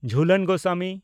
Jhulan Goswami